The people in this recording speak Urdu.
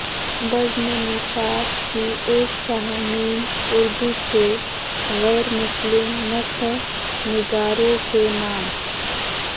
بزم نثار کی ایک شا م اردو کے غیر مسلم نثر نگاروں کے نام